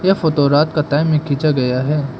यह फोटो रात के टाइम में खींचा गया है।